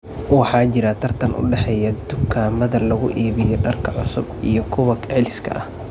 Waxaa jira tartan u dhexeeya dukaamada lagu iibiyo dharka cusub iyo kuwa celiska ah.